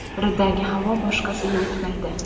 Biridagi havo boshqasiga o‘tmaydi.